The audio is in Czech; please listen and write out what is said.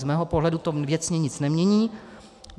Z mého pohledu to věcně nic nemění.